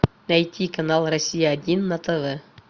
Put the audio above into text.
найти канал россия один на тв